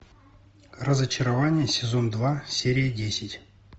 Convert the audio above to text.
разочарование сезон два серия десять